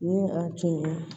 Ni a tun ye